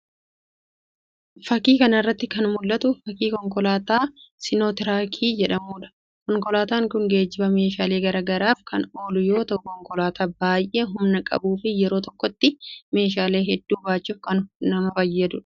Fakii kana irratti kan mul'atu fakii konkolaataa sinootiraakii jedhamudha. konkolaataan kun geejibaa meeshaalee garagaraaf kan ooluu yoo ta'u konkolaataa baay'ee humna qabuu fi yeroo tokkotti meeshaalee hedduu baachuuf kan nama fayyadudha.